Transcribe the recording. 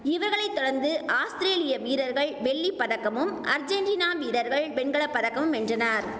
இவர்களை தொடர்ந்து ஆஸ்திரேலிய வீரர்கள் வெள்ளி பதக்கமும் அர்ஜென்டினா வீரர்கள் வெண்கல பதக்கமும் வென்றனர்